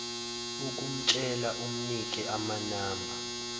ukumtshela umnike amanamba